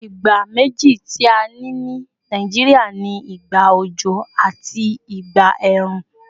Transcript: Ìgbà méjì tí a ní ní Nàìjíríà ni ìgbà òjò àti ìgbà ẹ̀rùn